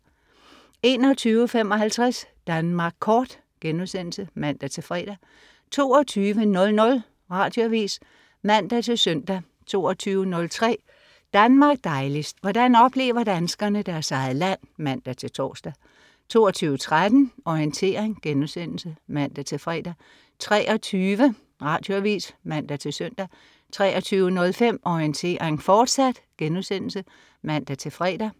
21.55 Danmark Kort* (man-fre) 22.00 Radioavis (man-søn) 22.03 Danmark dejligst. Hvordan oplever danskerne deres eget land? (man-tors) 22.13 Orientering* (man-fre) 23.00 Radioavis (man-søn) 23.05 Orientering, fortsat* (man-fre)